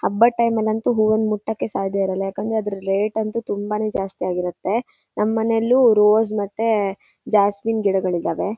''ಹಬ್ಬದ್'''' ಟೈಮೆಲ್ಲಿ ಅಂತೂ ಹೂವನ್ನು ಮುಟ್ಟಕ್ ಸಾದ್ಯಇರೋಲ್ಲಾ ಯಾಕೆ ಅಂದ್ರೆ ಅದ್ರ ರೇಟ್ ಅಂತು ತುಂಬಾ ಜಾಸ್ತಿ ಆಗಿ ಇರುಥೆ ನಮ್ಮನೆಲ್ಲು ರೋಜ್ ಮತ್ತೆ ಜಾಸ್ಮಿನ್ ಗಿಡಗಳಿದಾವೆ.''